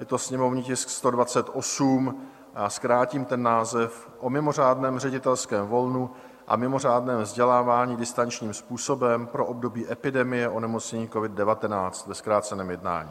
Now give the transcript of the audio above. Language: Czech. Je to sněmovní tisk 128, já zkrátím ten název, o mimořádném ředitelském volnu a mimořádném vzdělávání distančním způsobem pro období epidemie onemocnění covid-19 - ve zkráceném jednání.